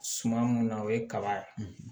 Suman mun na o ye kaba ye